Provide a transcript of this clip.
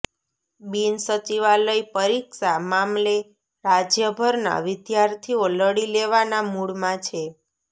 બિનસચિવાલય પરીક્ષા મામલે રાજ્યભરના વિદ્યાર્થીઓ લડી લેવાના મૂડમાં છે